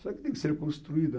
Só que tem que ser construída.